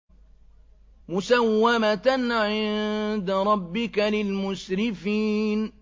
مُّسَوَّمَةً عِندَ رَبِّكَ لِلْمُسْرِفِينَ